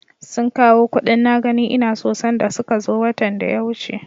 Sun kawo kuɗin na gani ina so sanda suka zo watan da ya wuce.